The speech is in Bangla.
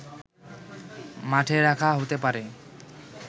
মাঠে রাখা হতে পারে